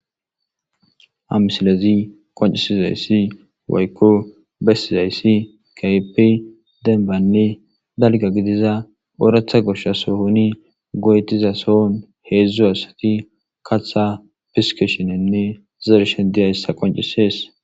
amisilezi qoncisizayssi waykko bessizayssi kaype denbanne dalga gidiza ooratha gosha sohoni goyetiza sohon heedzdzu asati katha fiskeshinenne zershe diyayssa qoncisees